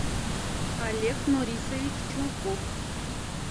олег нурисович чулков